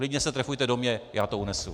Klidně se trefujte do mě, já to unesu!